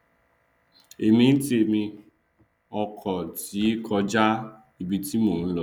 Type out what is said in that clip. èmi ntèmi ọkọ ti kọja ibi tí mò nlọ